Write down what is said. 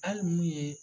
Hali mun ye